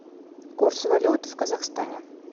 курс валют в казахстане